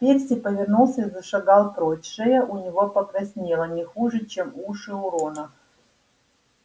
перси повернулся и зашагал прочь шея у него покраснела не хуже чем уши у рона